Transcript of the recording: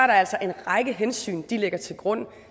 der altså en række hensyn de lægger til grund